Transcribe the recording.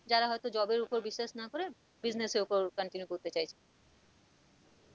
যারা হয়তো job এর উপর বিশ্বাস না করে business এর উপর continue করতে চাইছে